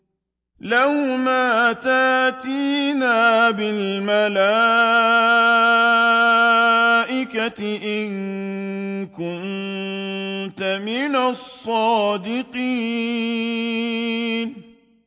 لَّوْ مَا تَأْتِينَا بِالْمَلَائِكَةِ إِن كُنتَ مِنَ الصَّادِقِينَ